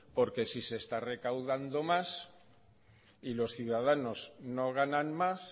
porque si se está recaudando más y los ciudadanos no ganan más